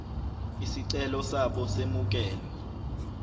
izicelo zabo zemukelwe